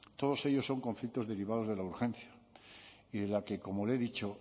todos ellos son conflictos derivados de la urgencia y de la que como le he dicho